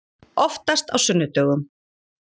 Oftast á sunnudögum.